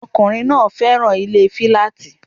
Ọkùnrin náà féràn ilé filaati